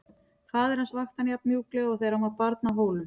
Faðir hans vakti hann jafn mjúklega og þegar hann var barn á Hólum.